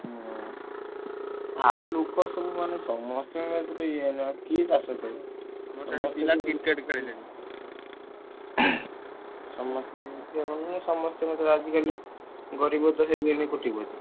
ହୁଁ। ଆଉ ଲୋକ ସବୁ ମାନେ ସମସ୍ତଙ୍କର ତ ଇଏ ହେଲେ ଆଉ କିଏ ଚାଷ କରିବ। ସମସ୍ତେ ତ ସମସ୍ତଙ୍କର ତ ଆଜିକାଲି ଗରିବ ତ ହେଇଗଲେଣି କୋଟିପତି।